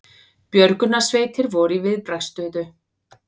Björgunarsveitir voru í viðbragðsstöðu